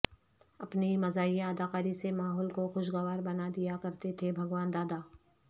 اپنی مزاحیہ اداکاری سے ماحول کو خوشگوار بنادیا کرتے تھے بھگوان دادا